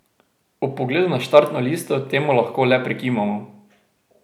Ob pogledu na štartno listo temu lahko le prikimamo.